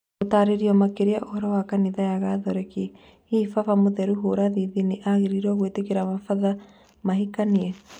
Gũtarĩrio makĩria ũhoro wa kanitha ya gatoreki: Hihi baba mũtheru Burathĩthi nĩ agĩrĩirwo gũĩtĩkĩria mabandĩrĩ mahikanĩtie?